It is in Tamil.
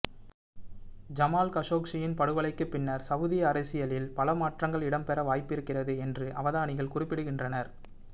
ஜமால் கஷோக்ஜியின் படுகொலைக்கு பின்னர் சவூதி அரசியலில் பல மாற்றங்கள் இடம்பெற வாய்ப்பிருக்கிறது என்று அவதானிகள் குறிப்பிடுகின்றனர்